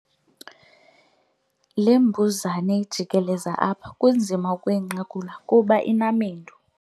Le mbuzane ijikeleza apha kunzima ukuyinqakula kuba inamendu.